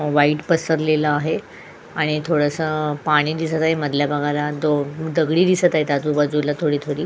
white पसारलेला आहे आणि थोडस पाणी दिसत आहे दगडी दिसत आहे आजूबाजूला थोडी थोडी --